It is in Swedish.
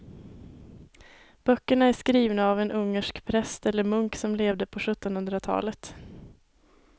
Böckerna är skrivna av en ungersk präst eller munk som levde på sjuttonhundratalet.